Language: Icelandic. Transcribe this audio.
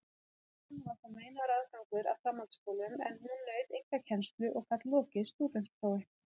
Stúlkum var þá meinaður aðgangur að framhaldsskólum, en hún naut einkakennslu og gat lokið stúdentsprófi.